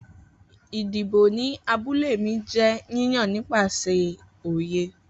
Idibo ni abule mi jẹ yiyan nipasẹ oye